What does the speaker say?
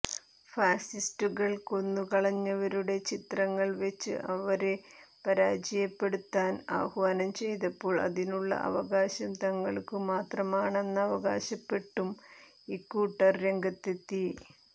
ഫാസിസ്റ്റുകൾ കൊന്നുകളഞ്ഞവരുടെ ചിത്രങ്ങൾ വെച്ച് അവരെ പരാജയപ്പെടുത്താൻ ആഹ്വാനം ചെയ്തപ്പോൾ അതിനുള്ള അവകാശം തങ്ങൾക്കു മാത്രമാണെന്നവകാശപ്പെട്ടും ഇക്കൂട്ടർ രംഗത്തെത്തി